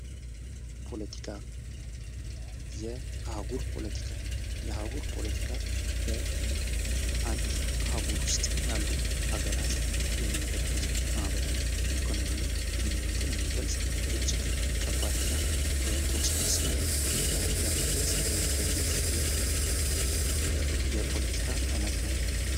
ፖለቲካ የአህጉር ፖለቲካ:- የአህጉር ፖለቲካ በአንድ አህጉር ዉስጥ ያሉ አገራት የሚያደርጉት ማህበራዊ ኢኮኖሚ ግንኙነትን የሚገልፅ እጅግ የተዉሰበሰበ የፖለቲካ አይነት ነዉ።